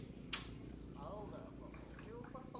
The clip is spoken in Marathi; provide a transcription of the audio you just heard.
हाव का लय उपवास पक